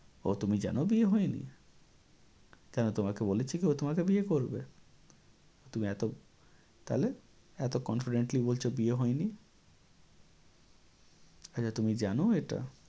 ও তুমি জানো বিয়ে হয়নি? কেন তোমাকে বলেছে কি ও তোমাকে বিয়ে করবে? তুমি এত, তাহলে? এত confidently বলছ বিয়ে হয়নি? আচ্ছা তুমি জানো এটা?